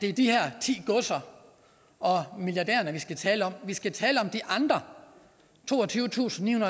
er de her ti godser og milliardærerne vi skal tale om vi skal tale om de andre toogtyvetusinde